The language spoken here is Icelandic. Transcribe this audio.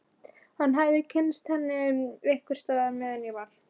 Hann hafði kynnst henni einhvers staðar meðan ég var á